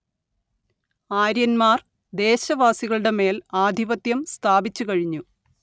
ആര്യന്മാർ ദേശവാസികളുടെമേൽ ആധിപത്യം സ്ഥാപിച്ചു കഴിഞ്ഞു